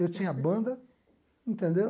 Eu tinha banda, entendeu?